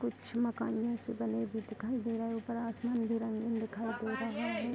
कुछ मकान भी ऐसे बने भी दिखाई दे रहा है ऊपर असमान भी रंगीन दिखाई दे रहा है।